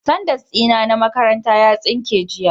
Sandas dina na makaranta ya tsinke jiya